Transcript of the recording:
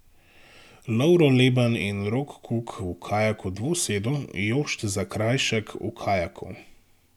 Lovro Leban in Rok Kuk v kajaku dvosedu, Jošt Zakrajšek v kajaku.